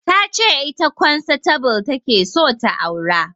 Ta ce ita kwansatable ta ke so ta aura